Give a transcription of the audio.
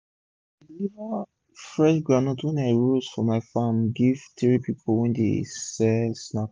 i dey deliver fresh groundnut wey i roast from my farm give three pipu wey dey sell snack